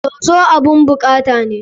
Soso abun bukata ne.